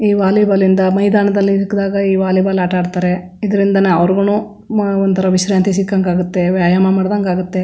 ಈ ವಾಲಿಬಾಲ್ ಇಂದ ಮೈದಾನದಲ್ಲಿ ಸಿಕ್ಕದಾಗ ಈ ವಾಲಿಬಾಲ್ ಆಟ ಆಡತ್ತರೆ ಇದರಿಂದ ಅವ್ರಗುನು ಒಂತರ ವಿಶ್ರಾಂತಿ ಸಿಕ್ಕಂಗಾಗುತ್ತೆ ವ್ಯಾಯಾಮ ಮಾಡದಂಗಾಗುತ್ತೆ.